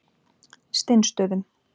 Steinsstöðum